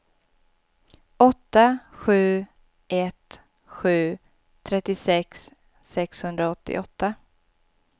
åtta sju ett sju trettiosex sexhundraåttioåtta